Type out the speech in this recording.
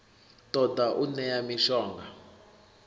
ṱo ḓa u ṋea mishonga